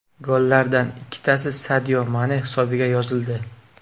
Gollardan ikkitasi Sadio Mane hisobiga yozildi.